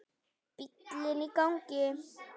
Bíllinn í gangi.